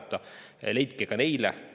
Leidke vajalikke lahendusi ka nende jaoks.